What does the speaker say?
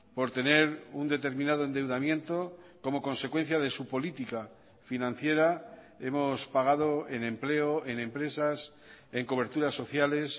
por tener un determinado endeudamiento como consecuencia de su política financiera hemos pagado en empleo en empresas en coberturas sociales